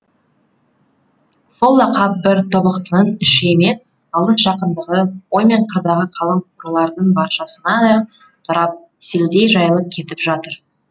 сол лақап бір тобықтының іші емес алыс жақындығы ой мен қырдағы қалың рулардың баршасына да тарап селдей жайылып кетіп жатыр